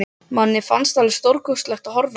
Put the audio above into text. Manni fannst alveg stórkostlegt að horfa á það.